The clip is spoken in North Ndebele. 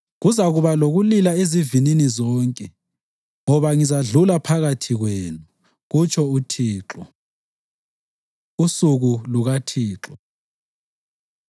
Kuzakuba lokulila ezivinini zonke, ngoba ngizadlula phakathi kwenu,” kutsho uThixo. Usuku LukaThixo